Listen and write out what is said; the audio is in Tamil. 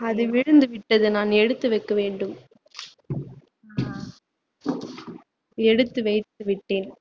அது விழுந்து விட்டது நான் எடுத்து வைக்க வேண்டும் எடுத்து வைத்து விட்டேன்